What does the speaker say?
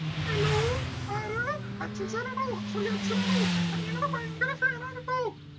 hello ആരാ Ashwin sir ആണോ? ആണോ? ഞാൻ നിങ്ങളെ ഭയങ്കര fan ആണുട്ടോ